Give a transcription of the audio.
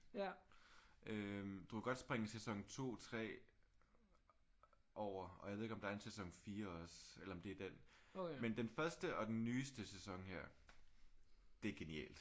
Øh du kan godt springe sæson 2 3 over og jeg ved ikke om der er en sæson 4 også eller om det er den. Men den første og den nyeste sæson her. Det er genialt